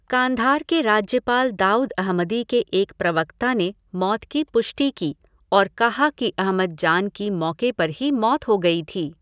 कांधार के राज्यपाल दाऊद अहमदी के एक प्रवक्ता ने मौत की पुष्टि की और कहा कि अहमद जान की मौके पर ही मौत हो गई थी।